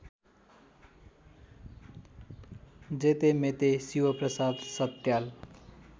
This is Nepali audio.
जेतेमेते शिवप्रसाद सत्याल